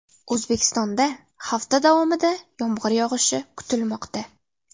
O‘zbekistonda hafta davomida yomg‘ir yog‘ishi kutilmoqda.